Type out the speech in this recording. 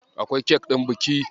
Akwai kek ɗin biki.